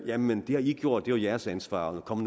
jamen det har i gjort det er jeres ansvar kom